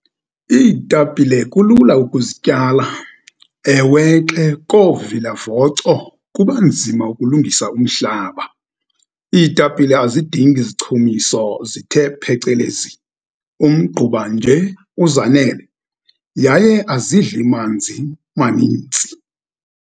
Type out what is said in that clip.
Iitapile kulula ukuzityala. Ewe ke, koovilavoco kubanzima ukulungisa umhlaba. Iitapile azidingi zichumiso zithe phecelezi. Umgquba nje uzanele, yaye azidli manzi manintsi.